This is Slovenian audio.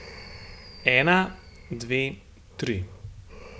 Ena, dve, tri.